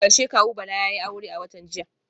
A karshe kawu Bala yayi aure a watan jiya